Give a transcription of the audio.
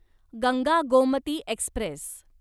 Ganga Gomti Express